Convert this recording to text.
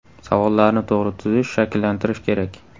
Savollarni to‘g‘ri tuzish, shakllantirish kerak”.